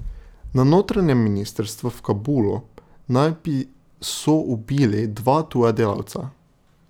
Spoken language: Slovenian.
Na notranjem ministrstvu v Kabulu naj bi so ubili dva tuja delavca.